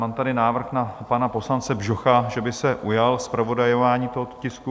Mám tady návrh na pana poslance Bžocha, že by se ujal zpravodajování tohoto tisku.